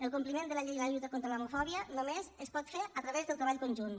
el compliment de la llei de la lluita contra l’homofòbia només es pot fer a través del treball conjunt